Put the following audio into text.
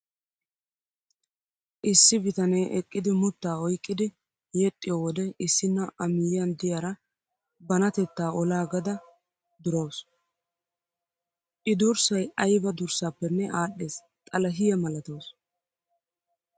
Issi bitanee eqqidi muttaa oyiqqidi yexxiyoo wode issinna A miyyiyaan diyaara banatettta olaagada durawusu. I durssayi ayiba durssaappenne aadhdhes xalahiyaa malatawusu.